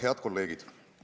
Head kolleegid!